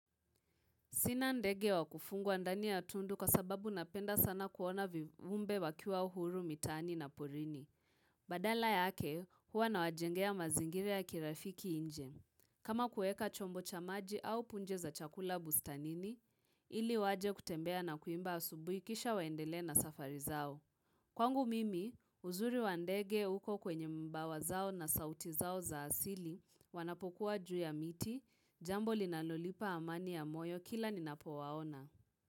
Sina ndege wa kufungwa ndani ya tundu kwa sababu napenda sana kuona viumbe wakiwa huru mitaani na porini. Badala yake huwa nawajengea mazingira ya kirafiki nje. Kama kuweka chombo cha maji au punje za chakula bustanini, ili waje kutembea na kuimba asubui kisha waendelee na safari zao. Kwangu mimi, uzuri wa ndege uko kwenye mbawa zao na sauti zao za asili wanapokuwa juu ya miti, jambo linalolipa amani ya moyo kila ninapowaona.